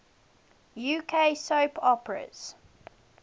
uk soap operas